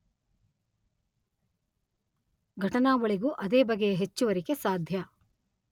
ಘಟನಾವಳಿಗೂ ಅದೇ ಬಗೆಯ ಹೆಚ್ಚುವರಿಕೆ ಸಾಧ್ಯ.